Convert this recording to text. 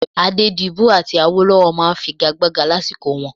Adédibú àti Awólọ́wọ̀ máa ń figagbága lásìkò wọn